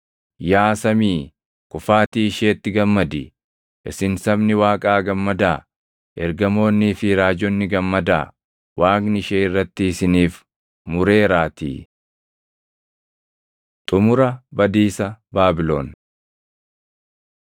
“Yaa samii kufaatii isheetti gammadi! Isin sabni Waaqaa gammadaa! Ergamoonnii fi raajonni gammadaa! Waaqni ishee irratti isiniif mureeraatii.” Xumura Badiisa Baabilon